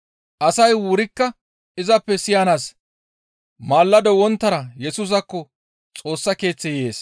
Asay wurikka izappe siyanaas maalado wonttara Yesusaakko Xoossa Keeththe yees.